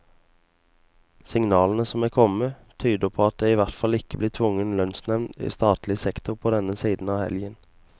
Signalene som er kommet, tyder på at det i hvert fall ikke blir tvungen lønnsnevnd i statlig sektor på denne siden av helgen.